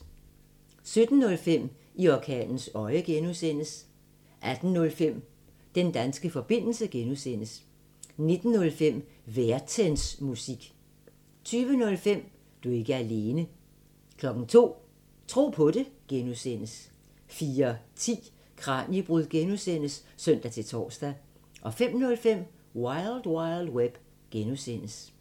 17:05: I orkanens øje (G) 18:05: Den danske forbindelse (G) 19:05: Værtensmusik 20:05: Du er ikke alene 02:00: Tro på det (G) 04:10: Kraniebrud (G) (søn-tor) 05:05: Wild Wild Web (G)